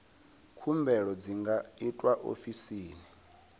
khumbelo dzi nga itwa ofisini